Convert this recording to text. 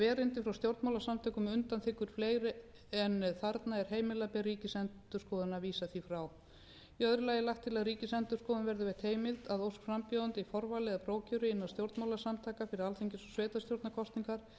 erindið frá stjórnmálasamtökum undanþiggur fleiri en þarna er heimilað ber ríkisendurskoðun að vísa því frá í öðru lagi er lagt til að ríkisendurskoðun verði veitt heimild að ósk frambjóðenda í forvali eða prófkjöri innan stjórnmálasamtaka fyrir alþingis og sveitarstjórnarkosningar